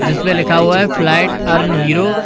जिसपे लिखा हुआ है फ्लाइट अर्न हीरो ।